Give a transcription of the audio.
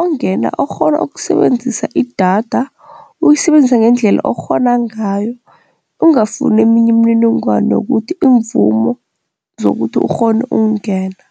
ongena okghona ukusebenzisa idatha uyisebenzisa ngendlela okghona ngayo ungafuni eminye imininingwana yokuthi iimvumo zokuthi ukghone ukungena.